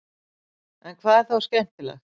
en hvað er þá skemmtilegt